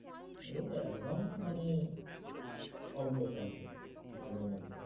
ঐ একদম মানে অল্প সল্প মাঝে মধ্যে।